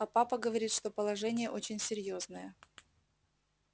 а папа говорит что положение очень серьёзное